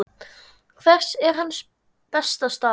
Hver er hans besta staða?